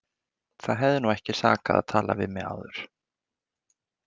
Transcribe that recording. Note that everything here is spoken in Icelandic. Það hefði nú ekki sakað að tala við mig áður!